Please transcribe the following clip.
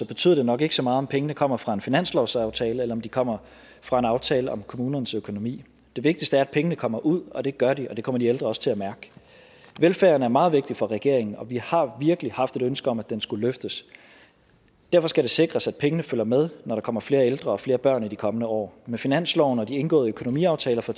betyder det nok ikke så meget om pengene kommer fra en finanslovsaftale eller om de kommer fra en aftale om kommunernes økonomi det vigtigste er at pengene kommer ud og det gør de og det kommer de ældre også til at mærke velfærden er meget vigtig for regeringen og vi har virkelig haft et ønske om at den skulle løftes derfor skal det sikres at pengene følger med når der kommer flere ældre og flere børn i de kommende år med finansloven og de indgåede økonomiaftaler for